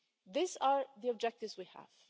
These are the objectives we have.